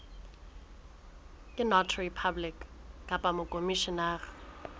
ke notary public kapa mokhomishenara